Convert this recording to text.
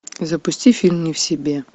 запусти фильм не в себе